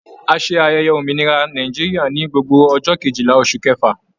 A ṣe ayẹyẹ òmìnira Nàìjíríà ní gbogbo ọjọ Kejìlá oṣù kẹfà.